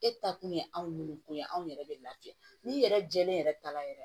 E ta kun ye anw de ko ye anw yɛrɛ bɛ lafiya ni yɛrɛ jɛlen yɛrɛ ta la yɛrɛ